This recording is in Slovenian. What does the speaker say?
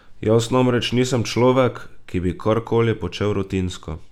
Jaz namreč nisem človek, ki bi kar koli počel rutinsko.